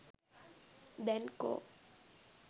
දැන් කෝ?